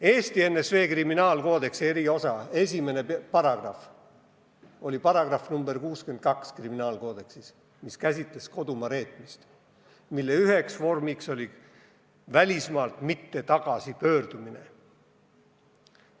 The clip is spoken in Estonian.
Eesti NSV kriminaalkoodeksi eriosa esimene paragrahv oli § 62, mis käsitles kodumaa reetmist, mille üheks vormiks oli välismaalt mitte tagasi pöördumine.